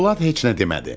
Polad heç nə demədi.